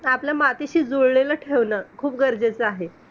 आपलं मातीशी जुळलेलं ठेवणं खूप गरजेचं आहे.